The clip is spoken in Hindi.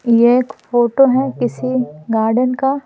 ये एक फोटो है किसी गार्डन का--